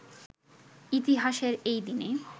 ইতিহাসের এই দিনে